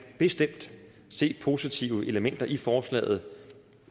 se positive elementer i forslaget